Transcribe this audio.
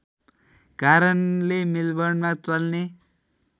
कारणले मेलबर्नमा चल्ने